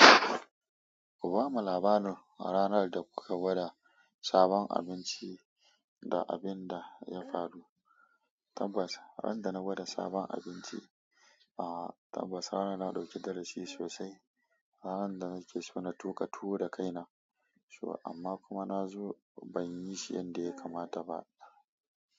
Ku ba mu labarin ranar da kuka gwada sabon abinci da abin da ya faru. Tabbas, ran da na gwada sabon abinci, a'a tabbas ranar na dauki darasi sosai. Ranar da nake so na tuka tuwo da kaina, so amma kuma na zo ban yi shi yanda ya kamata ba.